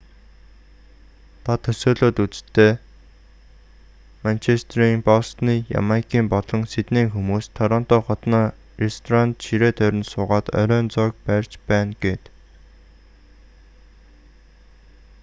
та төсөөлөөд үз дээ манчестерийн бостоны ямайкын болон сиднейн хүмүүс торонто хотноо ресторанд ширээ тойрон суугаад оройн зоог барьж байна гээд